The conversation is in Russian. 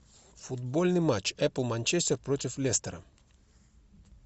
футбольный матч апл манчестер против лестера